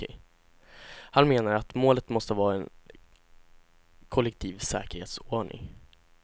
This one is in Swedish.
Han menar att målet måste vara en kollektiv säkerhetsordning.